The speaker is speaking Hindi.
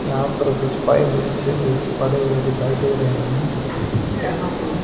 यहां पर कुछ पाइप नीचे भी पड़े हुए दिखाई दे रहे हैं यहां पर--